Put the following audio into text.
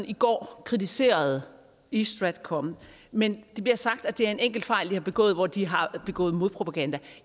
i går kritiserede east stratcom men det bliver sagt at det er en enkelt fejl de har begået hvor de har begået modpropaganda